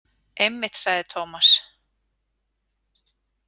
Einmitt, sagði Tómas.